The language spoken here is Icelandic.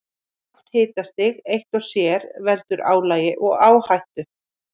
Lágt hitastig eitt og sér veldur álagi og áhættu.